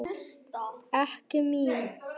Ekki mín.